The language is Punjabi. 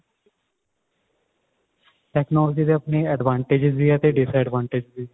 technology ਦੇ advantage ਵੀ ਆ ਤੇ disadvantage ਵੀ